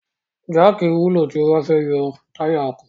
Jáàkì wúlò tí a bá fẹ́ yọ táyà ọkọ̀.